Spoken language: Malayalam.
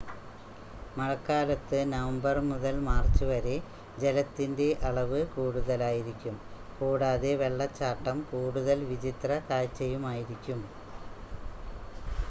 മഴക്കാലത്ത് നവംബർ മുതൽ മാർച്ച് വരെ ജലത്തിന്റെ അളവ് കൂടുതലായിരിക്കും കൂടാതെ വെള്ളച്ചാട്ടം കൂടുതൽ വിചിത്ര കാഴ്ചയുമായിരിക്കും